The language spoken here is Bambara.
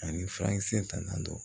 Ani furakisɛ tanan don